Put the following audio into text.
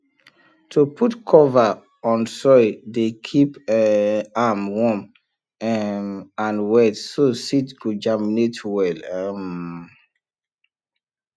to put cover on soil dey keep um am warm um and wet so seed go germinate well um